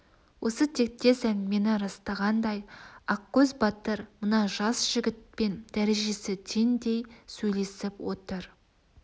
осы тектес әңгімені растағандай ақкөз батыр мына жас жігітпен дәрежесі теңдей сөйлесіп отыр